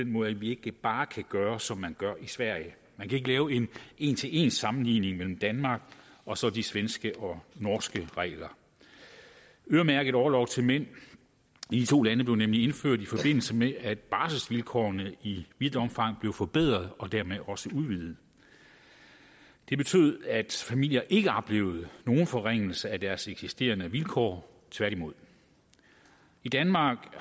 måde at vi ikke bare kan gøre som man gør i sverige man kan ikke lave en en til en sammenligning mellem danmark og så de svenske og norske regler øremærket orlov til mænd i de to lande blev nemlig indført i forbindelse med at barselsvilkårene i vidt omfang blev forbedret og dermed også udvidet det betød at familier ikke oplevede nogen forringelse af deres eksisterende vilkår tværtimod i danmark